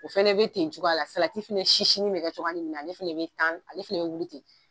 O fɛnɛ be ten cogoya la, salati fɛnɛ sisinin be kɛ cogoya nin min na ale fɛnɛ be tan ale fɛnɛ be wuli ten.